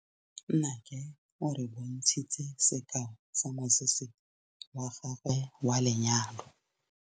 Nnake o re bontshitse sekaô sa mosese wa gagwe wa lenyalo.